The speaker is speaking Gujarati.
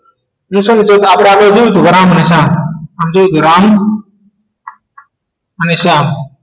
કેમ છો મિત્રો તો આપણે આને જોયું હતું પણ તો રામ અને શ્યામ